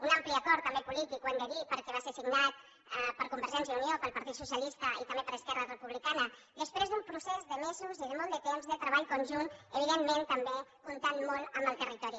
un ampli acord també polític ho hem de dir perquè va ser signat per convergència i unió pel partit socialista i també per esquerra republicana després d’un procés de mesos i de molt de temps de treball conjunt evidentment també comptant molt amb el territori